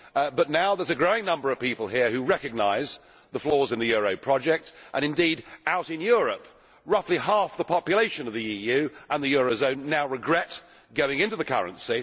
But now there is a growing number of people here who recognise the flaws in the euro project, and out in Europe roughly half the population of the EU and the euro zone now regret going into the currency.